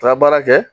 Taa baara kɛ